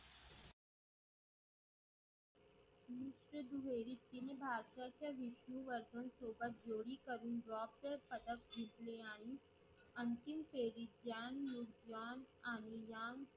तिने भारताच्या विधी वरून सोबत जोरी करून जोब्य पद्धत जिंकले आणि अंतिम फेरीत जान Nude John आणि जाम